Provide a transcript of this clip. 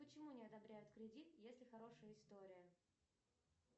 почему не одобряют кредит если хорошая история